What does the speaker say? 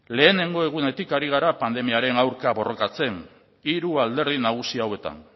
lehenengo egunetik ari gara pandemiaren aurka borrokatzen hiru alderdi nagusi hauetan